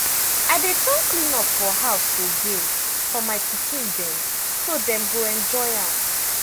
i dey turn clean up for house to game for my pikin dem so dem go enjoy am.